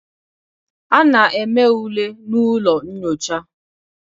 A na-eme ule na ụlọ nyocha.